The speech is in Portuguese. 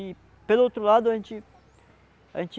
E, pelo outro lado, a gente, a gente